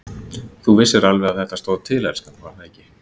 Þú vissir alveg að þetta stóð til, elskan, var það ekki?